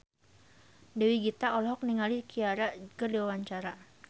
Dewi Gita olohok ningali Ciara keur diwawancara